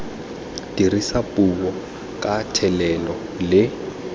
dirisa puo ka thelelo le